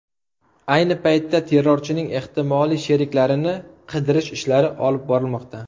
Ayni paytda terrorchining ehtimoliy sheriklarini qidirish ishlari olib borilmoqda.